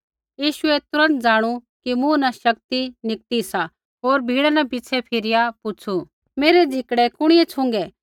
यीशुऐ तुरन्त ज़ाणू कि मूँ न शक्ति निकती सा होर भीड़ा न पिछ़ै फिरिया पुछ़ू मेरै झिकड़ै कुणिऐ छ़ुँगै